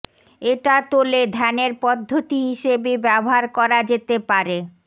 এটা তোলে ধ্যানের পদ্ধতি হিসেবে ব্যবহার করা যেতে পারে